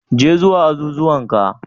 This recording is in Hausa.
Je zuwa azuzuwan ka,